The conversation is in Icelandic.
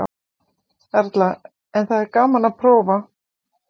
Erla: En það er gaman að prófa?